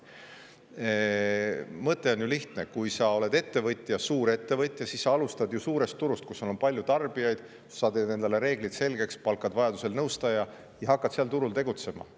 Mõte on ju lihtne: kui sa oled ettevõtja, suurettevõtja, siis sa alustad ju suurel turul, kus sul on palju tarbijaid, sa teed endale reeglid selgeks, palkad vajadusel nõustaja ja hakkad seal turul tegutsema.